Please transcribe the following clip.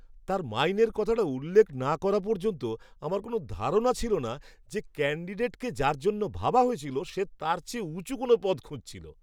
তার মাইনের কথাটা উল্লেখ না করা পর্যন্ত আমার কোনো ধারণা ছিল না যে, ক্যান্ডিডেটকে যার জন্য ভাবা হয়েছিল সে তার চেয়ে উঁচু কোনও পদ খুঁজছিল!